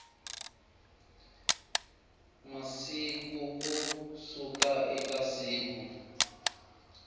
masiku ku suka eka siku